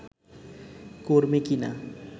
কর্মী কিনা